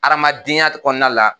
Adamadenya kɔnɔna la